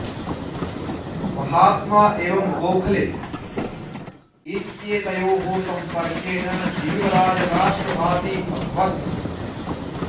महात्मा एवं गोखले इत्येतयोः सम्पर्केण जीवराज राष्ट्रवादी अभवत्